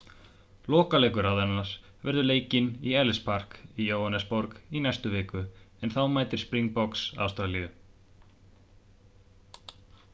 lokaleikur raðarinnar verður leikinn á ellis park í jóhannesarborg í næstu viku en þá mætir springboks ástralíu